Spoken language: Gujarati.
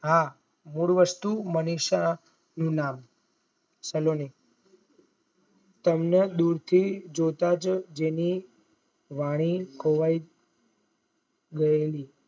હા મૂળ વસ્તુ મનીષા થી નામ સલોની તેમને દુર થી જોતાજ જેની વાણી ખોવાઈ ગયેલી